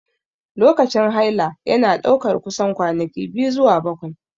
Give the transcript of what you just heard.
Lokacin haila yana ɗaukar kusan kwanaki 2 zuwa 7.